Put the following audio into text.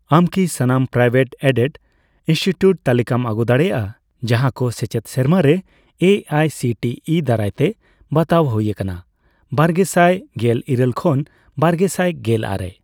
ᱟᱢ ᱠᱤ ᱥᱟᱱᱟᱢ ᱯᱨᱟᱭᱣᱮᱴᱼᱮᱰᱮᱰ ᱤᱱᱥᱴᱤᱴᱤᱭᱩᱴ ᱛᱟᱞᱤᱠᱟᱢ ᱟᱹᱜᱩ ᱫᱟᱲᱮᱭᱟᱜᱼᱟ ᱡᱟᱦᱟᱸᱠᱚ ᱥᱮᱪᱮᱫ ᱥᱮᱨᱢᱟᱨᱮ A I C T E ᱫᱟᱨᱟᱭᱛᱮ ᱵᱟᱛᱟᱣ ᱦᱩᱭ ᱟᱠᱟᱱᱟ ᱵᱟᱨᱜᱮᱥᱟᱭ ᱜᱮᱞᱤᱨᱟᱹᱞ ᱠᱷᱚᱱ ᱵᱟᱨᱜᱮᱥᱟᱭ ᱜᱮᱞ ᱟᱨᱮ ?